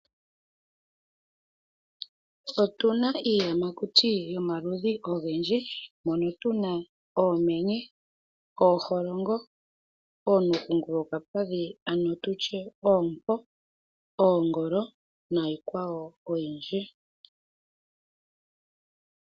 Otuna iiyamakuti yomaludhi ogendji. Mono tuna oomenye, ooholongo, oonuukungulu yokapadhi nenge ano tutye oompo, oongolo nayilwe oyindji.